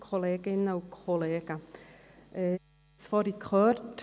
Man hat es soeben gehört: